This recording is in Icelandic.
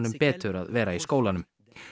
betur að vera í skólanum